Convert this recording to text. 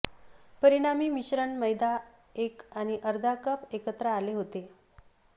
परिणामी मिश्रण मैदा एक आणि अर्धा कप एकत्र आले होते